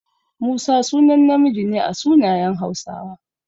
Musa sunan namiji ne a sunayen Hausawa.